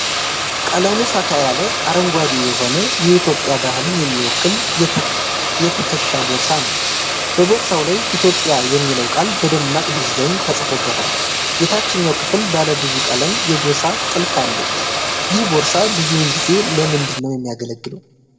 ቀለሙ ፈካ ያለ አረንጓዴ የሆነ የኤትዮጵያ ባህልን የሚወክል የትከሻ ቦርሳ ነው። በቦርሳው ላይ "ኢትዮጲያ" የሚለው ቃል በደማቅ ዲዛይን ተጽፎበታል። የታችኛው ክፍል ባለ ብዙ ቀለም የጎሳ ጥልፍ አለው። ይህ ቦርሳ ብዙውን ጊዜ ለምንድን ነው የሚያገለግለው?